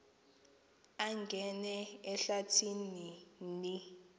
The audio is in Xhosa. angena ehlathi ni